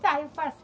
Tá, eu faço.